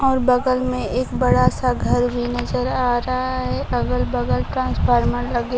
और बगल में एक बड़ा सा घर भी नजर आ रहा है अगल बगल ट्रांसफार्मर लगे--